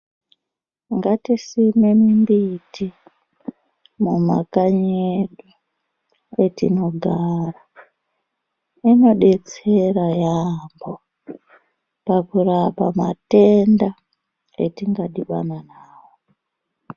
Ngatisime mimbiti mumakanyi edu kwetinogara inodetsera yaampo pakurapa matenda etingadhibana nawo.